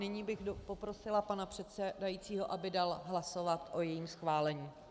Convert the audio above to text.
Nyní bych poprosila pana předsedajícího, aby dal hlasovat o jejím schválení.